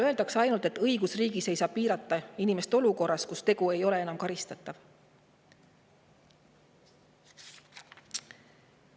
Öeldakse ainult, et õigusriigis ei saa piirata inimest olukorras, kus tegu ei ole enam karistatav.